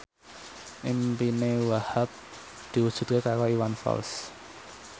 impine Wahhab diwujudke karo Iwan Fals